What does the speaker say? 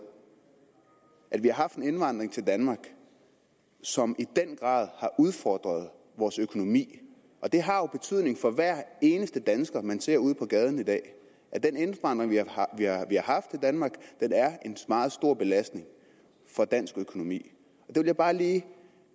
at vi har haft en indvandring til danmark som i den grad har udfordret vores økonomi det har jo betydning for hver eneste dansker man ser ude på gaden i dag at den indvandring vi har haft i danmark er en meget stor belastning for dansk økonomi det vil jeg bare lige